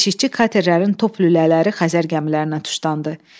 Keşikçi katerlərin top lülələri Xəzər gəmilərinə tuşlandı.